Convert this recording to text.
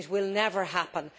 It will never happen.